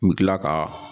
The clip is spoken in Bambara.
U bɛ tila ka